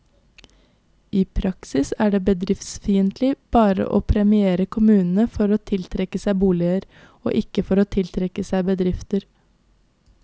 I praksis er det bedriftsfiendtlig bare å premiere kommunene for å tiltrekke seg boliger, og ikke for å tiltrekke seg bedrifter.